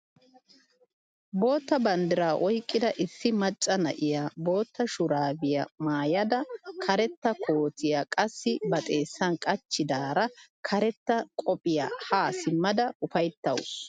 Bootta banddiraa oyqqida issi macca na'iyaa bootta shuraabiyaa maayada karetta kootiyaa qassi ba xeessan qachchidaara karetta qophiyaa haa simmada ufayttawus!